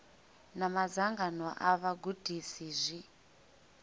na madzangano a vhagudisi zwi